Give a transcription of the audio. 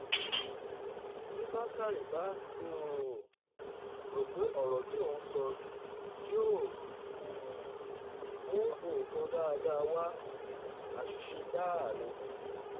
bí bákórè bá um rò pé ọ̀rọ̀ tí òun sọ yìí yóò um mú nǹkan dáadáa wá àṣìṣe gbáà ni